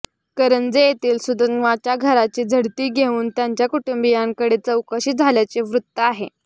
करंजे येथील सुधन्वाच्या घराची झडती घेऊन त्याच्या कुटुंबीयांकडे चौकशी झाल्याचे वृत्त आहेे